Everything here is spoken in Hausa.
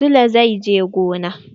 Sule zai je gona.